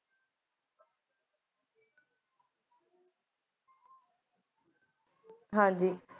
ਹਨ ਜੀ